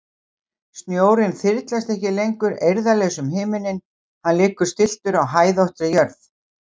Snjórinn þyrlast ekki lengur eirðarlaus um himininn, hann liggur stilltur á hæðóttri jörð.